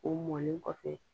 O mɔlen kɔfɛ